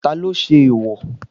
Talo ṣe eèwò?